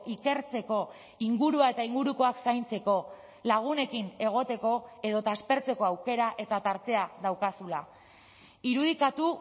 ikertzeko ingurua eta ingurukoak zaintzeko lagunekin egoteko edota aspertzeko aukera eta tartea daukazula irudikatu